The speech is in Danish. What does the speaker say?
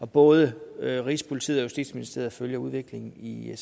både rigspolitiet og justitsministeriet følger udviklingen i